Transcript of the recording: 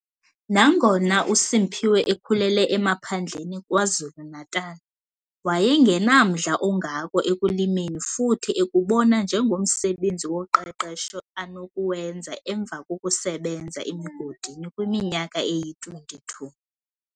Nangona uSimphiwe ekhulele emaphandleni KwaZulu-Natal, wayengenamdla ongako ekulimeni futhi ekubona njengomsebenzi woqeqesho anokuwenza emva kokusebenza emigodini kwiminyaka eyi-22.